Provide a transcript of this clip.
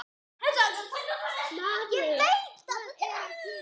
Maður, hvað er að gerast?